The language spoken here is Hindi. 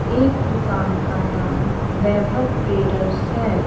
एक दुकान का नाम वैभव ट्रेडर्स है।